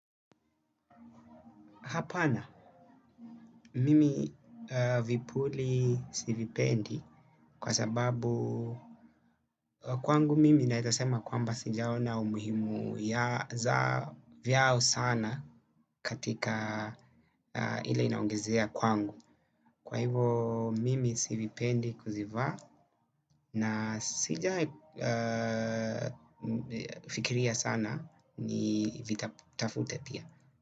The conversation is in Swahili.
Hapana, mimi vipuli sivipendi kwa sababu kwangu mimi naeza sema kwamba sijaona umuhimu ya za vyao sana katika ile inaongezea kwangu. Kwa hivo mimi sivipendi kuzivaa na sija fikiria sana ni vitafute pia.